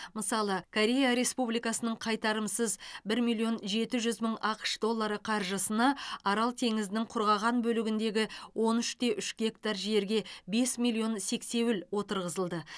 мысалы корея республикасының қайтарымсыз бір миллион жеті жүз мың ақш доллары қаржысына арал теңізінің құрғаған бөлігіндегі он үш те үш гектар жерге бес миллион сексеуіл отырғызылды